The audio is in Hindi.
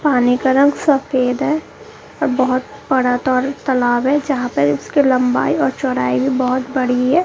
पानी का रंग सफेद है बहोत बड़ा त तलाब है जहां पर उसके लंबाई और चौड़ाई भी बहोत बड़ी है।